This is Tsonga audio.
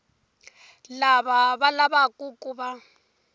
lava va lavaku ku va